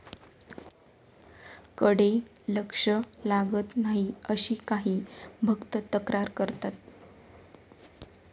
कडे लक्ष लागत नाही अशी काही भक्त तक्रार करतात